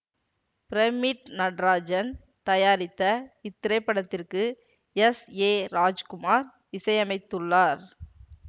pyramid Natarajan தயாரித்த இத்திரைப்படத்திற்கு S A Rajkumar இசையமைத்துள்ளார்